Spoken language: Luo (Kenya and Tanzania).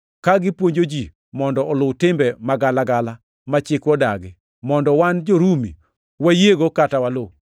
ka gipuonjo ji mondo oluw timbe magalagala ma chikwa odagi mondo wan jo-Rumi wayiego kata waluw.”